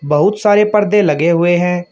बहुत सारे पर्दे लगे हुए हैं।